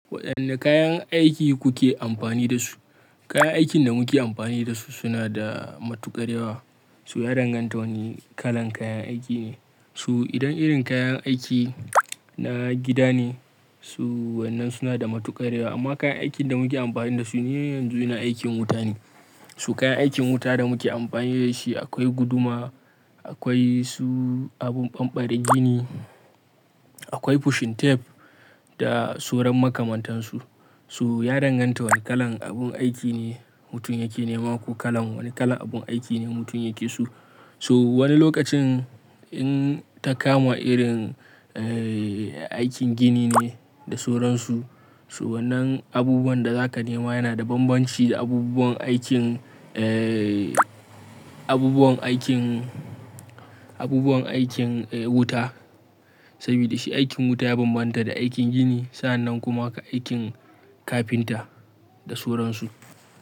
Waɗanne kayan aiki kuke amfani da su? Kayan aikin da muke amfani da su suna da matuƙar yawa. So ya danganta wane kalan kayan aiki ne. Su idan irin kayan aiki na gida ne, su wannan suna da matuƙar yawa. Amma kayan aikin da muke amfani da su ne yanzu na aikin wuta ne. Su kayan aikin wuta da muke amfani da shi akwai guduma, akwai su abun ɓamɓarr gini, akwai pushing tape da sauran makamantansu. To ya danganta wane kalan abun aiki ne mutum yake nema ko kalan wane kalan abun aiki ne mutum yake so. So wani lokacin in ta kama irin, eh, aikin gini ne da sauran su, so wannan abubuwan da zaka nema yana da bambanci da abubuwan aikin, eh, abubuwan aikin, abubuwan aikin, eh, wuta. Saboda shi aikin wuta ya bambanta da aikin gini. Sa'annan kuma haka aikin kafinta da sauran su.